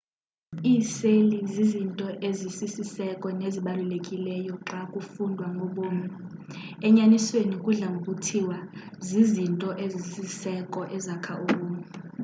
iiseli zizinto ezisiseko nezibalulekileyo xa kufundwa ngobomi enyanisweni kudla ngokuthiwa zizinto ezisisiseko ezakha ubomi